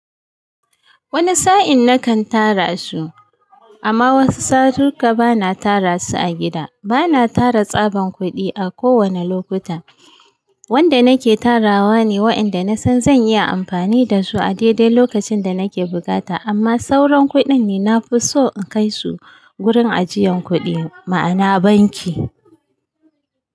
Wani sa'in nakan tara su amma wasu satuka bana tara su a gida. Bana tara tsaban kuɗi a kowane lokuta wanda nake tarawa ne wa'inda nasan zan iya amfani da su a daidai lokacin da nake bukata amma sauran kuɗin ne na fi so in kai su gurin ajiyan kuɗi ma'ana banki.